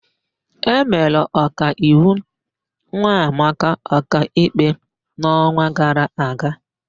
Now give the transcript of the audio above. E mere Ọkaiwu Nwamaka ọkaikpe n'ọnwa gara aga.